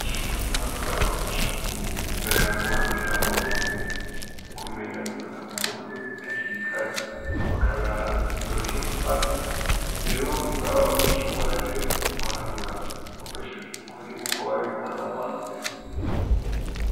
Mu mashure matomato barafasha kumenya guharurira mu mutwe no kumenya gufata ku mutwe hakiri kare, bakabaha igisoro co gufata, rero ntibaba bagishobora rero guharura bakoresheje dukoni nk'uko babikora mu wambere